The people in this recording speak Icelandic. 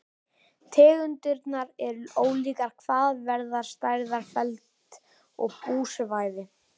Tegundirnar eru ólíkar hvað varðar stærð, feld og búsvæði.